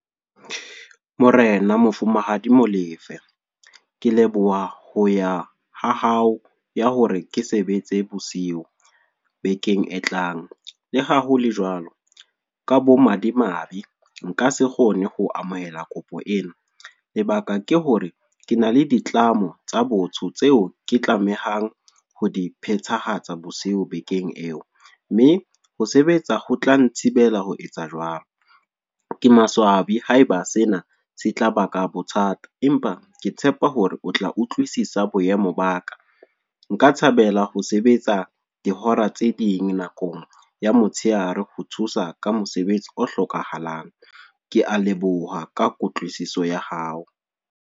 Morena, Mofumahadi Molefe. Ke leboha ho ya ha hao ya hore ke sebetse bosiu, bekeng e tlang. Le hahole jwalo, ka bomadimabe nka se kgone ho amohela kopo ena. Lebaka ke hore, ke na le ditlamo tsa botho tseo ke tlamehang ho diphethahatsa bosiu bekeng eo. Mme ho sebetsa ho tla nthibela ho etsa jwalo. Ke maswabi haeba sena se tla ba ka bothata. Empa ke tshepa hore o tla utlwisisa boemo ba ka. Nka thabela ho sebetsa dihora tse ding nakong ya motshehare ho thusa ka mosebetsi o hlokahalang. Ke a leboha ka kutlwisiso ya hao.